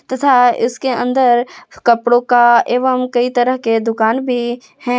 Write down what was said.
तथा इसके अंदर कपड़ों का एवं कई तरह के दुकान भी है।